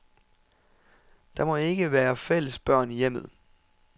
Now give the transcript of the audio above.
Der må ikke være fælles børn i hjemmet.